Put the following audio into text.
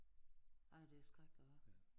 Ja det er skrækkeligt hva